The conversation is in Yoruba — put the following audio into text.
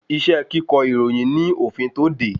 Iṣẹ́ kíkọ ìròyìn ní òfin tó de